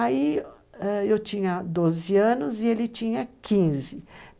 Aí eu ah tinha 12 anos e ele tinha 15.